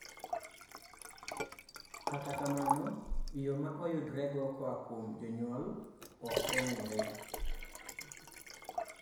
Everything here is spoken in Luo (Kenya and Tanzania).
kata kamano, yoo maoyudrego koa kuom jonyuol ok ong'ere